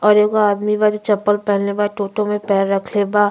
और एगो आदमी बा जे चप्पल पहेनले बा टोटो में पैर रखले बा।